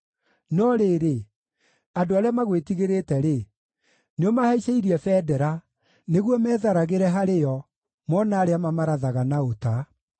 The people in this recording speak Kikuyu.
No rĩrĩ, andũ arĩa magwĩtigĩrĩte-rĩ, nĩũmahaicĩirie bendera, nĩguo metharagĩre harĩ yo mona arĩa mamarathaga na ũta.